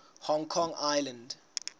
hong kong island